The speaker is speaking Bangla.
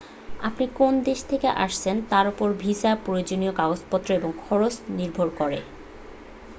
আপনি কোন দেশ থেকে আসছেন তার উপর ভিসার প্রয়োজনীয় কাগজপত্র ও খরচ নির্ভর করে